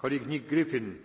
Mr